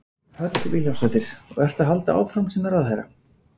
Hödd Vilhjálmsdóttir: Og ertu að halda áfram sem ráðherra?